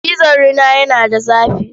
Cizon rina yana da zafi.